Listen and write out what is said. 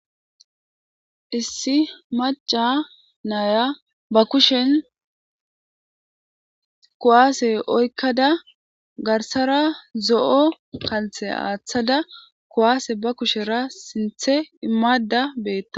Issi macca nayia ba kushshen kuwasse oyqqada garssara zo'o kalsse athada bettawusu.